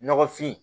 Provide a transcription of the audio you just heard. Nɔgɔfin